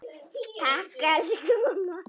Takk, elsku mamma.